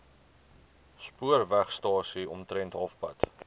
spoorwegstasie omtrent halfpad